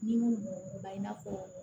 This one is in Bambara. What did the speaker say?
Ni minnu b'u ban i n'a fɔ